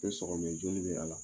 Min sɔgɔ bɛ joli bɛ yira a la